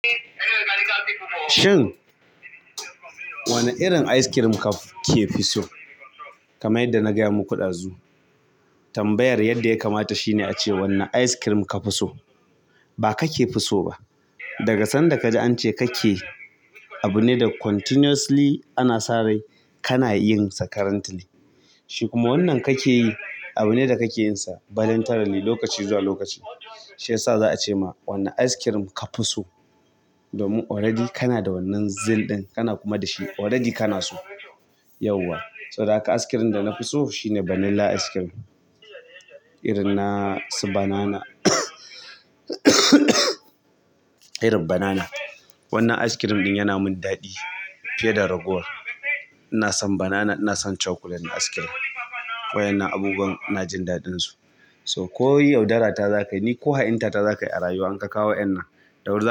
Shin wane irin ice cream ka ke fi so? Kamar yadda na gaya muku ɗazu tambayar yadda ya kamata shine ace "Wanne ice cream ka fi so?" Ba ka ke fi so ba. Daga sanda kaji ance kake abune da continuously ana sa rai kana yinsa currently shi kuma wannan kake yi abune da kake yinsa voluntarily lokaci zuwa lokaci. Shi yasa za a ce ma "Wanne ice cream ka fi so?" Domin already ka na da wannan zill ɗin, ka na kuma da shi. Already kana so. Yawwa. Saboda haka ice cream da na fi so shine vanilla ice cream. Irin na su banana. Irin banana. Wannan ice cream ɗin yana min daɗi fiye da ragowar. Ina son banana, ina son chocolate na ice cream. Waɗannan abubuwan ina jin daɗinsu. So, ko yau darata za ka yi ko ha'inta ta za ka yi a rayuwa, in ka kawo wa'yannan, ɗauri.